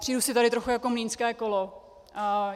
Přijdu si tady trochu jako mlýnské kolo.